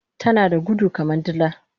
Tanada gudu kaman dila